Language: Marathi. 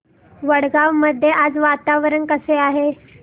वडगाव मध्ये आज वातावरण कसे आहे